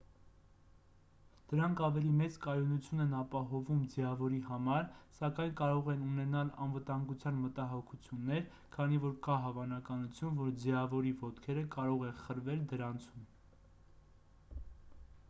դրանք ավելի մեծ կայունություն են ապահովում ձիավորի համար սակայն կարող են ունենալ անվտանգության մտահոգություններ քանի որ կա հավանականություն որ ձիավորի ոտքերը կարող են խրվել դրանցում